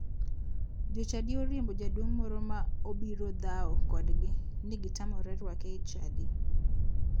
Jo chadi oriembo jaduong' moro ma obiro dhaw kodgi ni gitamore rwake e chadi.